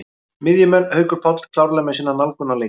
Miðjumenn: Haukur Páll klárlega með sína nálgun á leikinn.